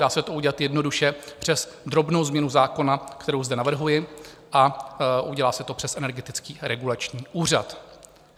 Dá se to udělat jednoduše přes drobnou změnu zákona, kterou zde navrhuji, a udělá se to přes Energetický regulační úřad.